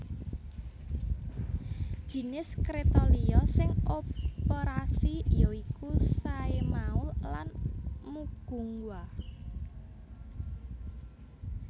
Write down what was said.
Jinis kréta liya sing operasi ya iku Saemaul lan Mugunghwa